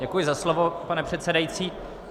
Děkuji za slovo, pane předsedající.